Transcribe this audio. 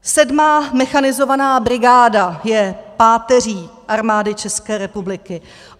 Sedmá mechanizovaná brigáda je páteří Armády České republiky.